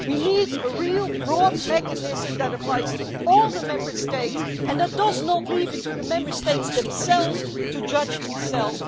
We need a real, broad mechanism that applies to all the Member States and that does not leave it to the Member States to judge themselves.